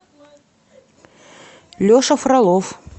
леша фролов